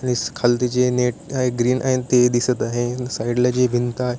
खालती जे नेट आहे ग्रीन आहे ते दिसत आहे साइड ला जी भिंत आहे.